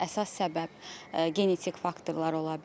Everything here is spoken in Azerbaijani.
Əsas səbəb genetik faktorlar ola bilər.